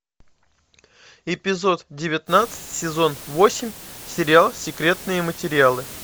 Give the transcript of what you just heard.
эпизод девятнадцать сезон восемь сериал секретные материалы